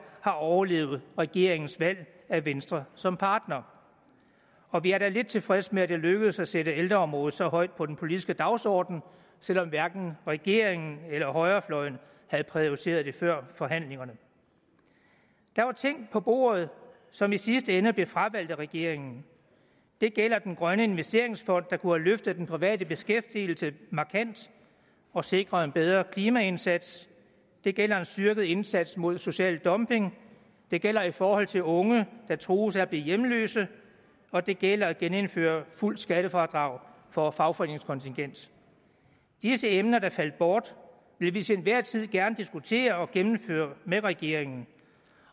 har overlevet regeringens valg af venstre som partner og vi er da lidt tilfredse med at det lykkedes at sætte ældreområdet så højt på den politiske dagsordenen selv om hverken regeringen eller højrefløjen havde prioriteret det før forhandlingerne der var ting på bordet som i sidste ende blev fravalgt af regeringen det gælder den grønne investeringsfond der kunne have løftet den private beskæftigelse markant og sikret en bedre klimaindsats det gælder en styrket indsats mod social dumping det gælder i forhold til unge der trues af at blive hjemløse og det gælder genindførelse af fuldt skattefradrag for fagforeningskontingent disse emner der faldt bort vil vi til enhver tid gerne diskutere og gennemføre med regeringen